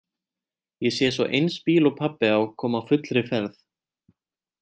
Ég sé svo eins bíl og pabbi á koma á fullri ferð.